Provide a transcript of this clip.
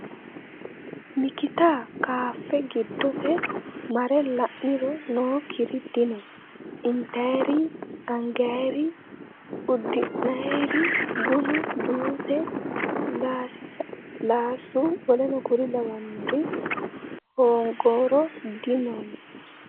Mikkitta kaaffe giddose marre la'niro nookkiri dinno . Intayiire yii, angayiire yii, udi'nayire yii, bunnu , juusse, lasiilaasu, wkl hoongoro dinno.